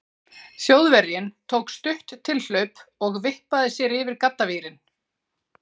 Þjóðverjinn tók stutt tilhlaup og vippaði sér yfir gaddavírinn.